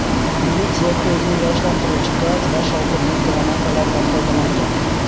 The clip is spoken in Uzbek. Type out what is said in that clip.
Militsiya ko‘zni yoshlantiruvchi gaz va shovqinli granatalardan foydalangan.